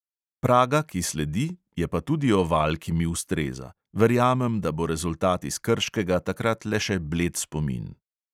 Praga, ki sledi, je pa tudi oval, ki mi ustreza, verjamem, da bo rezultat iz krškega takrat le še bled spomin.